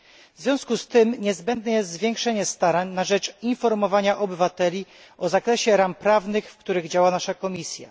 W związku z tym niezbędne jest zwiększenie starań na rzecz informowania obywateli o zakresie ram prawnych, w których działa nasza komisja.